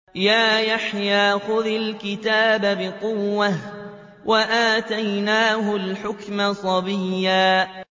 يَا يَحْيَىٰ خُذِ الْكِتَابَ بِقُوَّةٍ ۖ وَآتَيْنَاهُ الْحُكْمَ صَبِيًّا